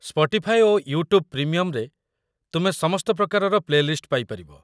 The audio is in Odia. ସ୍ପଟିଫାଇ ଓ ୟୁଟ୍ୟୁବ୍ ପ୍ରିମିୟମ୍‌ରେ ତୁମେ ସମସ୍ତ ପ୍ରକାରର ପ୍ଲେଲିଷ୍ଟ ପାଇପାରିବ।